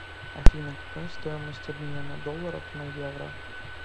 афина какая стоимость обмена долларов на евро